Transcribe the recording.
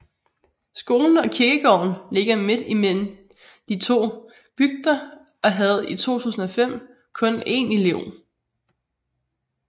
Skolen og kirkegården ligger midt imellem de to bygder og havde i 2005 kun en elev